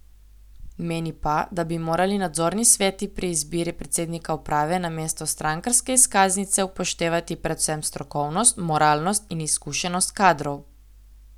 Meni pa, da bi morali nadzorni sveti pri izbiri predsednika uprave namesto strankarske izkaznice upoštevati predvsem strokovnost, moralnost in izkušenost kadrov.